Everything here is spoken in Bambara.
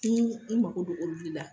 N ye n mako don olu de la.